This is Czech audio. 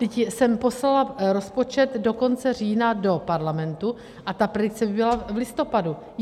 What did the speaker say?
Vždyť jsem poslala rozpočet do konce října do Parlamentu a ta predikce by byla v listopadu.